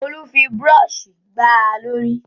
Olú fi búrọ́ṣì gbá a lórí.